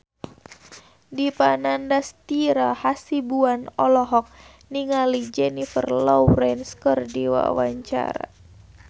Dipa Nandastyra Hasibuan olohok ningali Jennifer Lawrence keur diwawancara